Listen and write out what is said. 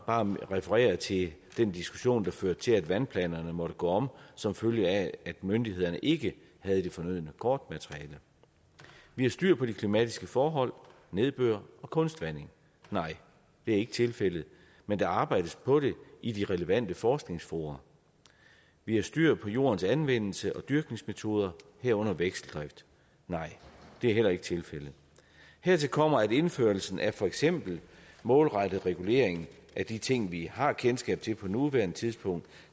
bare referere til den diskussion der førte til at vandplanerne måtte gå om som følge af at myndighederne ikke havde det fornødne kortmateriale vi har styr på de klimatiske forhold nedbør og kunstvanding nej det er ikke tilfældet men der arbejdes på det i de relevante forskningsfora vi har styr på jordens anvendelse og dyrkningsmetoder herunder vekseldrift nej det er heller ikke tilfældet hertil kommer at indførelsen af for eksempel målrettet regulering af de ting vi har kendskab til på nuværende tidspunkt